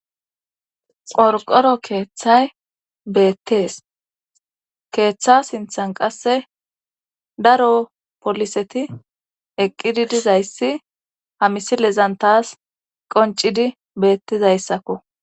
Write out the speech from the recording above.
qorqoro keeththay beettees keeththa sinthan qasse daro poliseti eqqidi dizayssi hamisilezantas qoncidi beettizayssakko